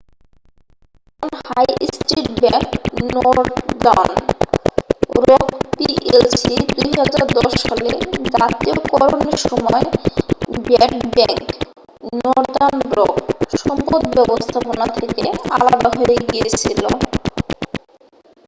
বর্তমান high street bank Northern Rock PLC ২০১০ সালে জাতীয়করণের সময় 'ব্যাড ব্যাংক' নর্দার্ন রক সম্পদ ব্যবস্থাপনা থেকে আলাদা হয়ে গিয়েছিল।